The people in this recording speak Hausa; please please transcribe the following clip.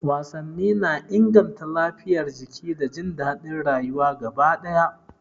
Wasanni na inganta lafiyar jiki da jin daɗin rayuwa gaba ɗaya.